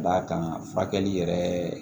D'a kan furakɛli yɛrɛ